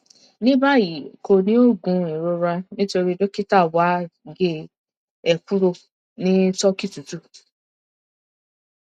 ní báyìí kò ní òògùn ìrora nítorí dókítà wa gé e kúrò ní turkey tútù